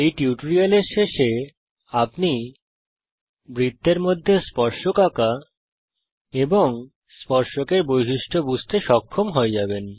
এই টিউটোরিয়ালের শেষে আপনি বৃত্তের মধ্যে স্পর্শক আঁকা স্পর্শকের বৈশিষ্ট্য বুঝতে সক্ষম হয়ে যাবেন